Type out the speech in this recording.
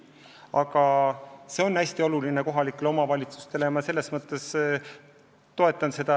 Aga see teema on kohalikele omavalitsustele hästi oluline ja ma toetan seda.